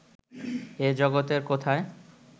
এ জগতের কোথায়